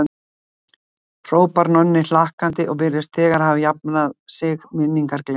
hrópar Nonni hlakkandi og virðist þegar hafa jafnað sig, minningar gleymdar.